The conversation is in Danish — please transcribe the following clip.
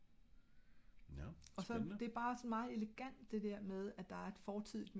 der bliver såen refereret lidt til nogle ting i bind et det betyder ikke du ka sagtens læse bind to